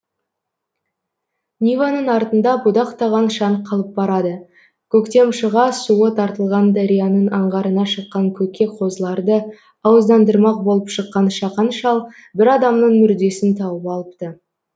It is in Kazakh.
ниваның артында будақтаған шаң қалып барады көктем шыға суы тартылған дарияның аңғарына шыққан көкке қозыларды ауыздандырмақ болып шыққан шақан шал бір адамның мүрдесін тауып алыпты